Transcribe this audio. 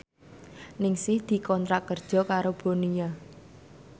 Ningsih dikontrak kerja karo Bonia